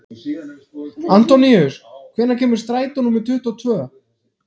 Antóníus, hvenær kemur strætó númer tuttugu og tvö?